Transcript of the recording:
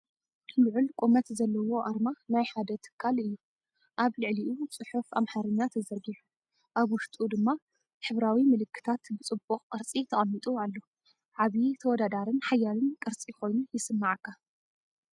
ልዑል ቁመት ዘለዎ ኣርማ ናይ ሓደ ትካል እዩ። ኣብ ልዕሊኡ ጽሑፍ ኣምሓርኛ ተዘርጊሑ፡ ኣብ ውሽጡ ድማ ሕብራዊ ምልክታት ብጽቡቕ ቅርጺ ተቐሚጡ ኣሎ። ዓቢ፡ ተወዳዳሪን ሓያልን ቅርጺ ኮይኑ ይስምዓካ!